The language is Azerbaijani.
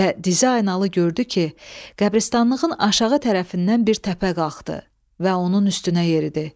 Və Dizaynalı gördü ki, qəbiristanlığın aşağı tərəfindən bir təpə qalxdı və onun üstünə yeridi.